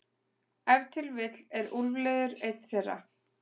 Ef til vill er úlfliður ein þeirra.